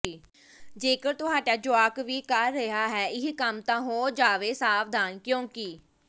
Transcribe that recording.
ਜੇਕਰ ਤੁਹਾਡਾ ਜੁਆਕ ਵੀ ਕਰ ਰਿਹਾ ਹੈ ਇਹ ਕੰਮ ਤਾਂ ਹੋ ਜਾਵੋ ਸਾਵਧਾਨ ਕਿਉਂਕਿ